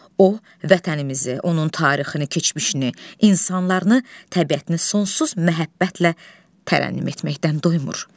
O vətənimizi, onun tarixini, keçmişini, insanlarını, təbiətini sonsuz məhəbbətlə tərənnüm etməkdən doymur.